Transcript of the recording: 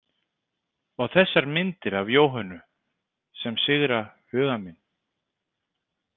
Og þessar myndir af Jóhönnu sem sigra huga minn.